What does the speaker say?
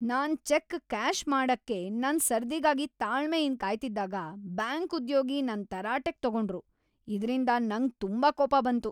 ನಾನ್ check cash ಮಾಡಕ್ಕೆ ನನ್ ಸರ್ದಿಗಾಗಿ ತಾಳ್ಮೆಯಿಂದ್ ಕಾಯ್ತಿದ್ದಾಗ ಬ್ಯಾಂಕ್ ಉದ್ಯೋಗಿ ನನ್ನ ತರಾಟೆಗೆ ತಗೊಂಡ್ರು ಇದ್ರಿಂದ ನಂಗ್ ತುಂಬಾ ಕೋಪ ಬಂತು.